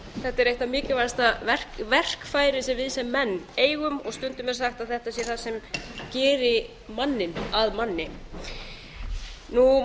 þetta er eitthvert mikilvægasta verkfæri sem við sem menn eigum og stundum er sagt að þetta sé það sem geri manninn að manni